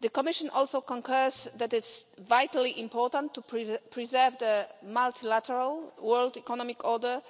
The Commission also concurs that itʼs vitally important to preserve the multilateral world economic order,